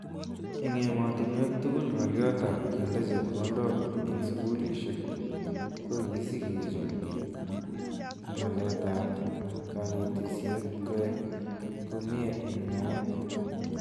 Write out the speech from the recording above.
Ing emotumwek tugul ngalyot ap kinde chepkondok ing sukulishek ko kisige chop ngalet ap kanetiset koek komie ing naet.